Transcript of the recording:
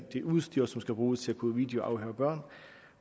det udstyr som skal bruges til at kunne videoafhøre børn